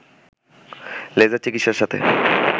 laser চিকিৎসার সাথে